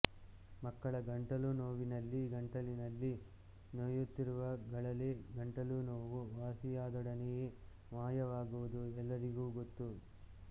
ಮಕ್ಕಳ ಗಂಟಲು ನೋವಿನಲ್ಲಿ ಗಂಟಲಿನಲ್ಲಿ ನೋಯುತ್ತಿರುವ ಗಳಲೆ ಗಂಟಲು ನೋವು ವಾಸಿಯಾದೊಡನೆಯೇ ಮಾಯವಾಗುವುದು ಎಲ್ಲರಿಗೂ ಗೊತ್ತು